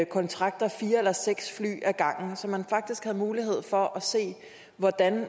kontrakter fire eller seks fly ad gangen så man faktisk havde mulighed for at se hvordan